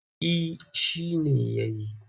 Eh shi ne ya yi.